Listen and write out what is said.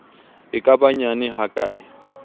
e ka ba nyane hakae